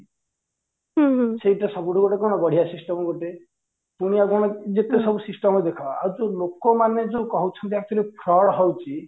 ସେଇଟା ସବୁଠୁ ଗୋଟେ କଣ ବଢିଆ system ଗୋଟେ ପୁଣି ଆଉ କଣ ଯେତେ ସବୁ system ଦେଖ ଆଉ ଯୋଉ ଲୋକ ମାନେ ଯୋଉ କହୁଛନ୍ତି actually fraud ହଉଚି